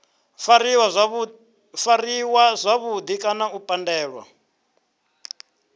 fariwa zwavhudi kana u pandelwa